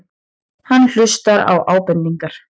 Hann hlustar á ábendingar.